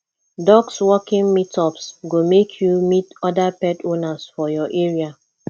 dog walking meetups go make you meet other pet owners for your area